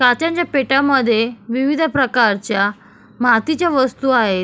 काचेच्या पेटयांमद्धे विविध प्रकारच्या मातीच्या वस्तु आहेत.